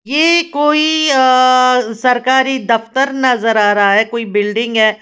ये कोई आ सरकारी दफ्तर नजर आ रहा है। कोई बिल्डिंग है।